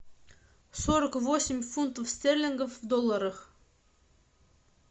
сорок восемь фунтов стерлингов в долларах